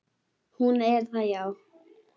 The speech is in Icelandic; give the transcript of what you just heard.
Hún er það, já.